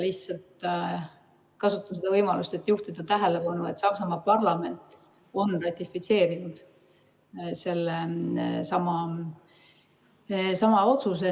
Kasutan seda võimalust, et juhtida tähelepanu, et Saksamaa parlament on ratifitseerinud sellesama otsuse.